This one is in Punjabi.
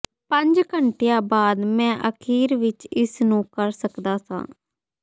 ਪੰਜ ਘੰਟਿਆਂ ਬਾਅਦ ਮੈਂ ਅਖੀਰ ਵਿੱਚ ਇਸ ਨੂੰ ਕਰ ਸਕਦਾ ਸਾਂ